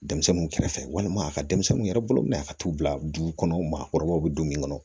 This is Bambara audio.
Denmisɛnninw kɛrɛfɛ walima a ka denmisɛnninw yɛrɛ bolo minɛ a ka t'u bila dugu kɔnɔ maakɔrɔbaw be don min kɔnɔ